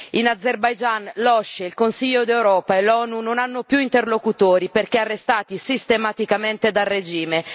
In Azerbaigian, l'OSCE, il Consiglio d'Europa e l'ONU non hanno più interlocutori perché arrestati sistematicamente dal regime.